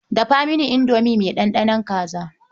Dafa mini indomi mai ɗanɗanon kaza.